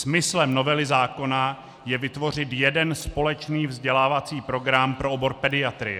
Smyslem novely zákona je vytvořit jeden společný vzdělávací program pro obor pediatrie.